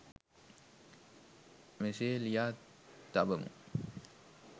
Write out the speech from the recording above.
මෙසේ ලියා තබමු.